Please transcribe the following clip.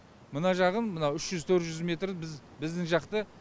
мына жағын мынау үш жүз төрт жүз метр біздің жақты